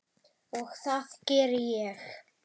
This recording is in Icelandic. Og það geri ég.